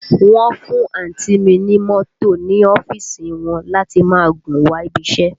Wọ́n fún àǹtí ì mi ní mọ́tò ní ọ́fíìsì wọn láti máa gùn wá ibi iṣẹ́